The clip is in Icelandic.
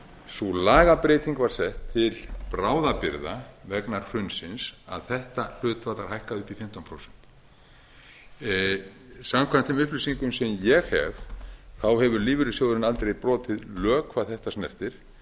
sú lagabreyting var sett til bráðabirgða vegna hrunsins að þetta hlutfall var hækkað upp í fimmtán prósent samkvæmt þeim upplýsingum sem ég hef hefur lífeyrissjóðurinn aldrei brotið lög hvað þetta snertir og